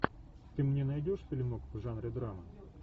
ты мне найдешь фильмок в жанре драма